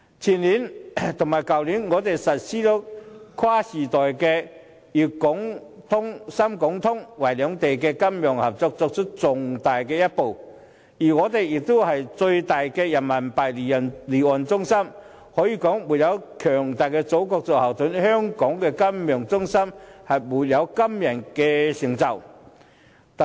前年和去年，我們實施跨時代的滬港通和深港通，為兩地金融合作邁出重大一步，而且香港也是最大的人民幣離岸中心，可以說沒有強大的祖國作後盾，香港金融中心就沒有今天的成就。